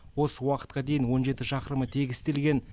осы уақытқа дейін он жеті шақырымы тегістелген